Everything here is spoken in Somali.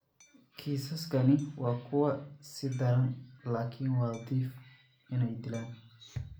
Kiisaskani waa kuwa ka sii daran, laakiin waa dhif inay dilaan.